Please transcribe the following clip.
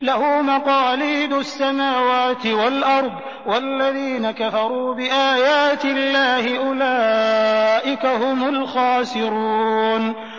لَّهُ مَقَالِيدُ السَّمَاوَاتِ وَالْأَرْضِ ۗ وَالَّذِينَ كَفَرُوا بِآيَاتِ اللَّهِ أُولَٰئِكَ هُمُ الْخَاسِرُونَ